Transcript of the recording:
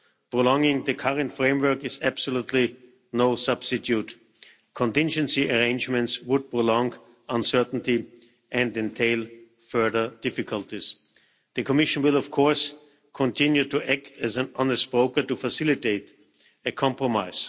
Prolonging the current framework is absolutely no substitute. Contingency arrangements would prolong uncertainty and entail further difficulties. The Commission will of course continue to act as an honest broker to facilitate a compromise.